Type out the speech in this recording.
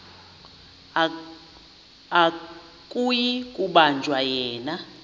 akuyi kubanjwa yena